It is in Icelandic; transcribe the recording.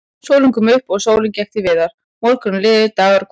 Sólin kom upp og sólin gekk til viðar, morgnar liðu, dagar og kvöld.